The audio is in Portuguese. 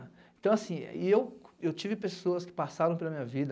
Então assim, e eu, eu tive pessoas que passaram pela minha vida,